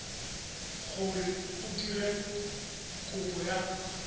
gore o dire kopo ya